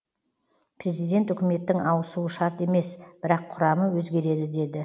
президент үкіметтің ауысуы шарт емес бірақ құрамы өзгереді деді